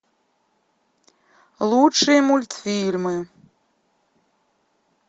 лучшие мультфильмы